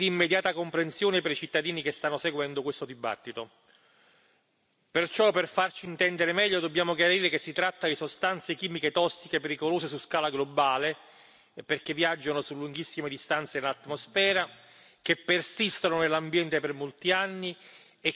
Perciò, per farci intendere meglio, dobbiamo chiarire che si tratta di sostanze chimiche tossiche pericolose su scala globale, perché viaggiano su lunghissime distanze in atmosfera, che persistono nell'ambiente per molti anni e che si accumulano negli ecosistemi, ponendo così gravi rischi alla salute umana e all'ambiente.